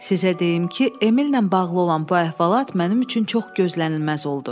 Sizə deyim ki, Emilnə bağlı olan bu əhvalat mənim üçün çox gözlənilməz oldu.